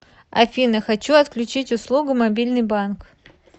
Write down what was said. афина хочу отключить услугу мобильный банк